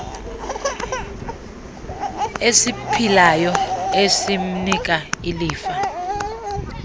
esiphilayo esimnika ilifa